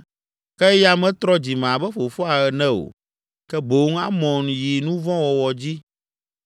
ke eya metrɔ dzime abe fofoa ene o, ke boŋ Amon yi nu vɔ̃ wɔwɔ dzi.